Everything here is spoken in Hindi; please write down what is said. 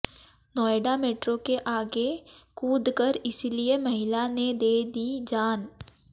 नोएडा मेट्रो के आगे कूदकर इसलिए महिला ने दे दी जान